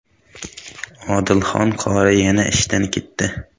Odilxon qori yana ishdan ketdi .